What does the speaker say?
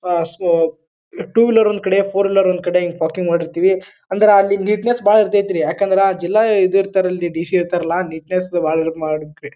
ಆ so two wheeler ಒಂದ್ ಕಡೆ ಫೋರ್ ವೀಲರ್ ಒಂದ್ ಕಡೆ ಹಿಂಗ್ ಪಾರ್ಕಿಂಗ್ ಮಾಡಿರ್ತಿವಿ. ಅಂದ್ರ ಅಲ್ಲಿ ನೀಟ್ನೆಸ್ ಬಹಳ ಇರತೈತ್ರಿ ಯಾಕಂದ್ರ ಅಲ್ಲಿ ಜಿಲ್ಲಾ ಇದಿರ್ತಾರಲ್ಲ ಡಿ ಸಿ ಇರ್ತಾರಲ್ಲ ನೀಟ್ನೆಸ್ ಬಹಳ ಇದ್ ಮಾಡಕ್ರಿ.